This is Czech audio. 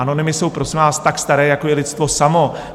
Anonymy jsou, prosím vás, tak staré, jako je lidstvo samo.